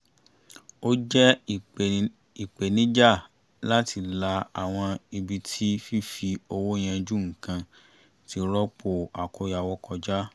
ó jẹ́ ìpènijà láti la àwọn ibi tí fífi owó yanjú nǹkan ti rọ́pò àkóyawọ́ kọjá